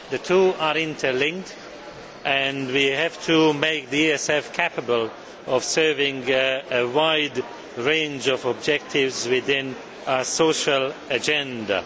The two are interlinked, and we have to make the ESF capable of serving a wide range of objectives within a social agenda.